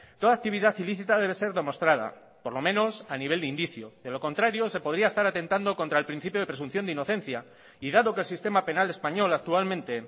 toda actividad ilícita debe ser demostrada por lo menos a nivel de indicio de lo contrario se podría estar atentando contra el principio de presunción de inocencia y dado que el sistema penal español actualmente